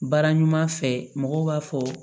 Baara ɲuman fɛ mɔgɔw b'a fɔ